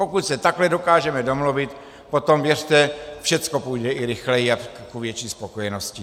Pokud se takhle dokážeme domluvit, potom věřte, všecko půjde i rychleji a k větší spokojenosti.